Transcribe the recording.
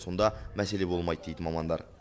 сонда мәселе болмайды дейді мамандар